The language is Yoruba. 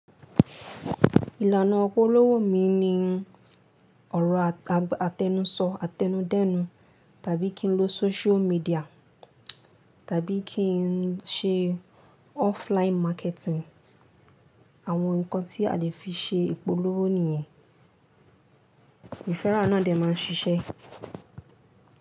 Ìlànà ìpolówó mi ni ọ̀rọ̀ àtẹ́nuso, àtẹnudẹ́nu tàbí kí n lo social media tàbí kí n ṣe offline marketing. Àwọn nǹkan tí a lè fi ṣe ìpolówó nìyẹn, ìfẹ́rà náà ni a máa ń ṣiṣẹ́.